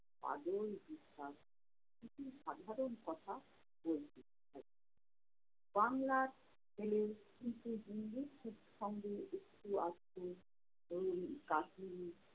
কিছু সাধারণ কথা বলছে বাংলার ছেলের একটু আধটু ওই